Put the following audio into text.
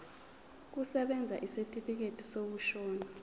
kusebenza isitifikedi sokushona